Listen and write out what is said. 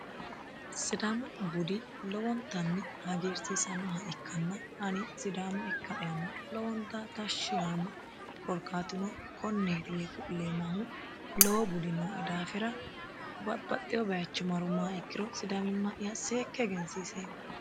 sidama budi lowontanni hagiirsiisannoha ikkanna ani sidama ikka'yanni lowonta tashshi yaanno korkatuno konneeti yee ku'leemmahu lowo budi noe daafira babbaxewo bayicho marummaha ikkiro sidamimma'ya seekke egensiiseemmo